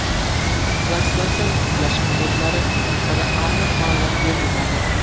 Translyatsiyani tiklash muddatlari haqida aniq ma’lumot berilmadi.